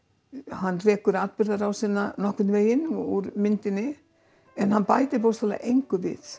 hann rekur atburðarásina nokkurn veginn úr myndinni en hann bætir bókstaflega engu við